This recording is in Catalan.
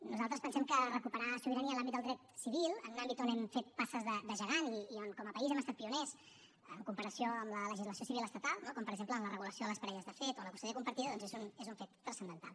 nosaltres pensem que recuperar sobirania en l’àmbit del dret civil en un àmbit on hem fet passes de gegant i on com a país hem estat pioners en comparació a la legislació civil estatal no com per exemple en la regulació de les parelles de fet o en la custòdia compartida doncs és un fet transcendental